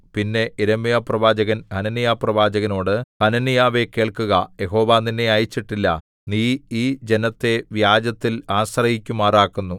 പിന്നെ യിരെമ്യാപ്രവാചകൻ ഹനന്യാപ്രവാചകനോട് ഹനന്യാവേ കേൾക്കുക യഹോവ നിന്നെ അയച്ചിട്ടില്ല നീ ഈ ജനത്തെ വ്യാജത്തിൽ ആശ്രയിക്കുമാറാക്കുന്നു